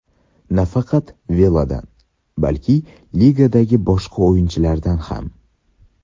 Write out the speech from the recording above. Nafaqat Veladan, balki ligadagi boshqa o‘yinchilardan ham.